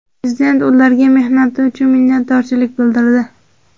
Prezident ularga mehnati uchun minnatdorchilik bildirdi.